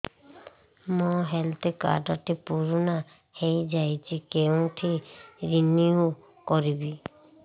ମୋ health card ଟି ପୁରୁଣା ହେଇଯାଇଛି କେଉଁଠି ରିନିଉ କରିବି